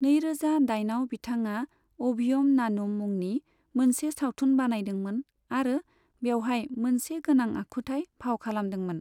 नै रोजा दाइन आव बिथाङा 'अभियम नानुम' मुंनि मोनसे सावथुन बानायदोंमोन आरो बेवहाय मोनसे गानां आखुथाय फाव खालामदोंमोन।